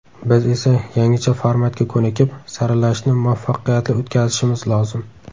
Biz esa yangicha formatga ko‘nikib, saralashni muvaffaqiyatli o‘tkazishimiz lozim.